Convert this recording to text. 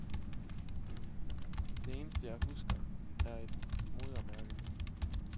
Det eneste jeg husker er et modermærke.